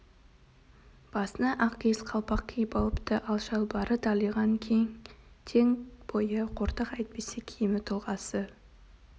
басына ақ киіз қалпақ киіп алыпты ал шалбары далиған кең тек бойы қортық әйтпесе киімі тұлғасы